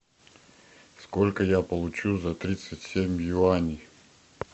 сколько я получу за тридцать семь юаней